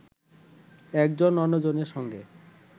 একজন অন্যজনের সঙ্গে